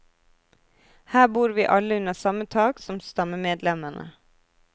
Her bor vi alle under samme tak som stammemedlemmene.